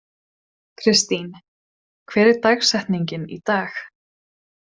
Kristine, hver er dagsetningin í dag?